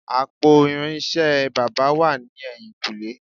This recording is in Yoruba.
Àpò irinṣẹ́ baba wà ní ẹ̀yìn-kùlé